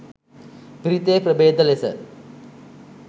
පිරිතේ ප්‍රභේද ලෙස